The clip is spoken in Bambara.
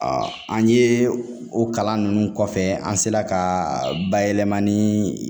an ye o kalan ninnu kɔfɛ an sera ka bayɛlɛmani